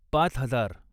पाच हजार